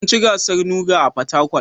Mun ci gasar NUGA a Fatakwal